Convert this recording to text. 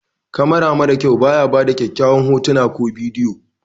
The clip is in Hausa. kamara mara kyau ba ya bada kyakyawan hotuna ko bidiyo